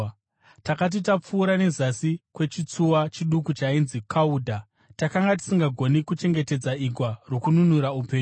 Takati tapfuura nezasi kwechitsuwa chiduku chainzi Kaudha, takanga tisisagoni kuchengetedza igwa rokununura upenyu.